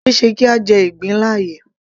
Kò ṣeéṣe kí a jẹ ìgbín láàyè